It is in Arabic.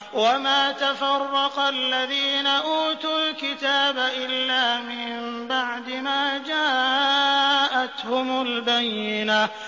وَمَا تَفَرَّقَ الَّذِينَ أُوتُوا الْكِتَابَ إِلَّا مِن بَعْدِ مَا جَاءَتْهُمُ الْبَيِّنَةُ